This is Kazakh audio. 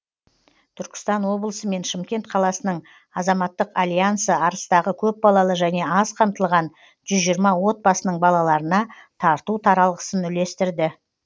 түркістан облысы мен шымкент қаласының азаматтық альянсы арыстағы көпбалалы және аз қамтылған жүз жиырма отбасының балаларына тарту таралғысын үлестірді